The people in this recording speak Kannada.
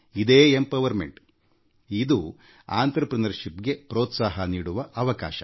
ಇದು ಸಬಲೀಕರಣಇದುಉದ್ಯಮಶೀಲತೆಯನ್ನು ಪ್ರೋತ್ಸಾಹಿಸುವ ಅವಕಾಶ